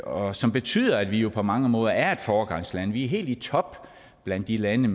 og som betyder at vi jo på mange måder er et foregangsland vi er helt i top blandt de lande